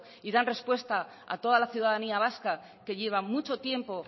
y dan respuesta a toda la ciudadanía vasca que lleva mucho tiempo